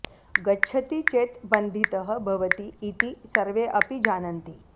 गच्छति चेत् बन्धितः भवति इति सर्वे अपि जानन्ति